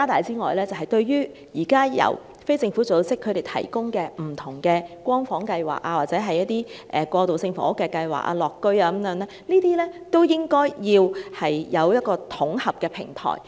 此外，就着現時由非政府機構提供的不同"光房"計劃或過渡性房屋計劃，例如"樂屋"等，亦應有一個統合平台。